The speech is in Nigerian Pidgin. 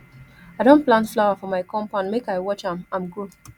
i don plant flower for my compoundmake i watch am am grow